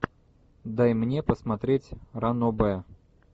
дай мне посмотреть ранобэ